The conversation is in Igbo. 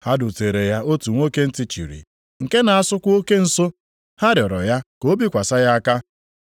Ha duteere ya otu nwoke ntị chịrị, nke na-asụkwa oke nsụ. Ha rịọrọ ya ka o bikwasị ya aka.